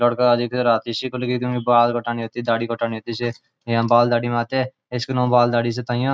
लड़का दिखरा टिशि को लेके जो है बाल कटनी होती दाड़ी कटानी होती इसे यहां बाल दाड़ी बनाते इसमें बाल दाड़ी से तयां --